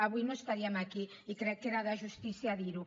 avui no estaríem aquí i crec que era de justícia dir ho